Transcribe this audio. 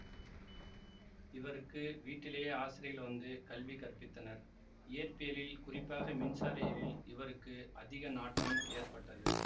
இவருக்கு வீட்டிலேயே ஆசிரியர்கள் வந்து கல்வி கற்பித்தனர் இயற்பியலில் குறிப்பாக மின்சார இயலில் இவருக்கு அதிக நாட்டம் ஏற்பட்டது